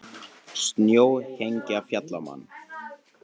Snjóhengja féll á mann